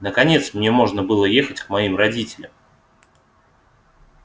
наконец мне можно было ехать к моим родителям